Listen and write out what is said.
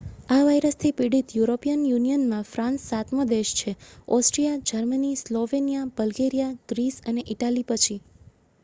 આ વાયરસથી પીડિત યુરોપિયન યુનિયનમાં ફ્રાન્સ સાતમો દેશ છે Austria Germany Slovenia Bulgaria Greece અને ઇટાલી પછી